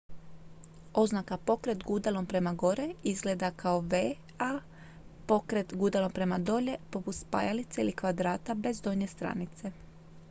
"oznaka "pokret gudalom prema gore" izgleda kao v a "pokret gudalom prema dolje" poput spajalice ili kvadrata bez donje stranice.